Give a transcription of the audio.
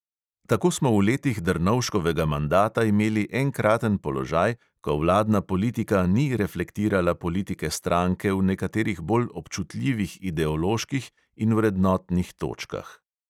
Tako smo v letih drnovškovega mandata imeli enkraten položaj, ko vladna politika ni reflektirala politike stranke v nekaterih bolj občutljivih ideoloških in vrednotnih točkah.